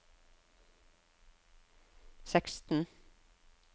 seksten